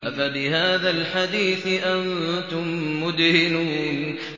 أَفَبِهَٰذَا الْحَدِيثِ أَنتُم مُّدْهِنُونَ